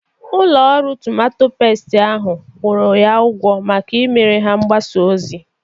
Ụlọ ọrụ tomato pestu ahụ kwụrụ ya ụgwọ maka imere ha mgbasa ozi.